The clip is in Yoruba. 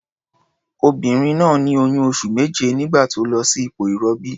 Onìnrin náà ní oyún oṣù méje nígbà tó lọ sí ipò ìrọbí.